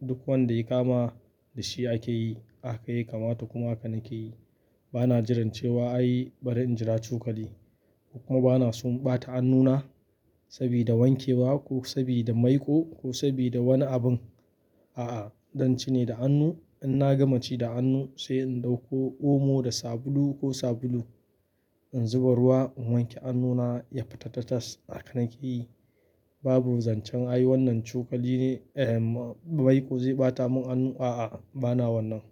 duk wanda ya kama da shi ake yi, haka yake kamata kuma haka nake yi. Bana jiran cewa ai ɓari in jira cokali kuma bana son ɓata annuna sabida wanke wa ko sabida maiƙo ko sabida wani abin. A'a, don ci ne da hannu, in na gama ci da hannu sai in ɗauko omo da sabulu ko sabulu in zuba ruwa in wanke hannuna ya tattas, haka nake yi. Babu zancen ai wannan cokali ne maiƙo zai ɓata mun annu. A'a, bana wannan.